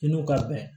I n'u ka bɛn